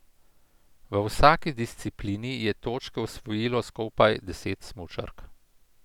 V vsaki disciplini je točke osvojilo skupaj deset smučark.